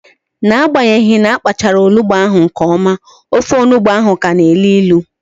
N'agbanyeghi na apachara onugbu ahụ nke ọma, ofe ọgbọno ahụ ka na elu ilu